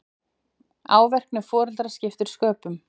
Árvekni foreldra skipti sköpum